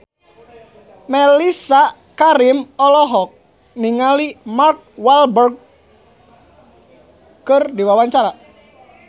Mellisa Karim olohok ningali Mark Walberg keur diwawancara